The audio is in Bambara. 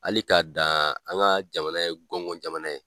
Hali k'a dan an ka jamana ye kɔngɔn jamana ye